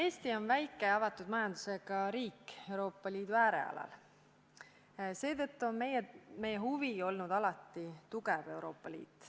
Eesti on väike avatud majandusega riik Euroopa Liidu äärealal, seetõttu on meie huvi alati olnud tugev Euroopa Liit.